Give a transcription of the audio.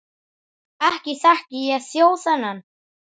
Ekki þekki ég þjó þennan.